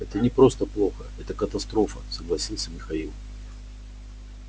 это не просто плохо это катастрофа согласился михаил